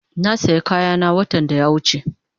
Na saya kayana watan da ya wuche